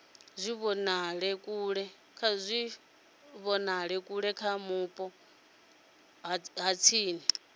tshivhonakule kha vhupo ha tsini